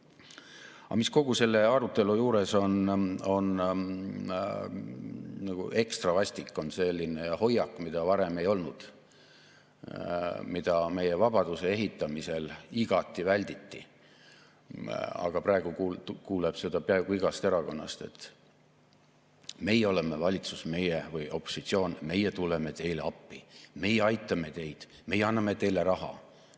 Aga mis kogu selle arutelu juures on ekstra vastik, on selline hoiak, mida varem ei olnud, mida meie vabaduse ehitamisel igati välditi, aga praegu kuuleb seda peaaegu igast erakonnast, et meie oleme opositsioon, meie tuleme teile appi, meie aitame teid, meie anname teile raha.